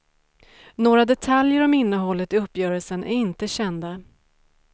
Några detaljer om innehållet i uppgörelsen är inte kända.